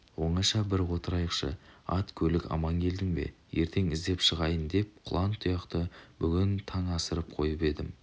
оңаша бір отырайықшы ат-көлік аман келдің бе ертең іздеп шығайын деп құлан-тұяқты бүгін таң асырып қойып едім